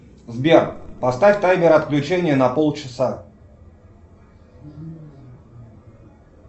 сбер поставь таймер отключения на полчаса